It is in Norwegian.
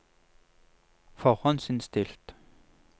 forhåndsinnstilt